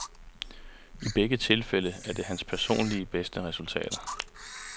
I begge tilfælde er det hans personligt bedste resultater.